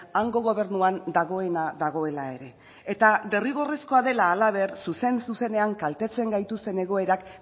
hango gobernuan dagoena dagoela ere eta derrigorrezkoa dela halaber zuzen zuzenean kaltetzen gaituzten egoerak